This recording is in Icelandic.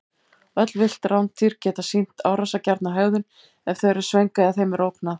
Öll villt rándýr geta sýnt árásargjarna hegðun ef þau eru svöng eða þeim er ógnað.